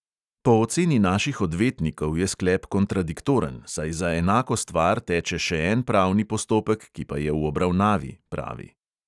Po oceni naših odvetnikov je sklep kontradiktoren, saj za enako stvar teče še en pravni postopek, ki pa je v obravnavi, pravi.